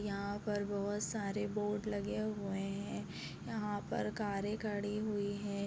यहाँ पर बहुत सारे बोर्ड लगे हुए हैं यहाँ पर कारे खड़ी हुईं हैं।